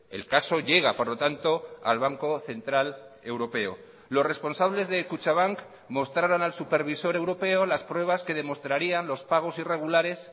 el caso llega por lo tanto al banco central europeo los responsables de kutxabank mostraron al supervisor europeo las pruebas que demostrarían los pagos irregulares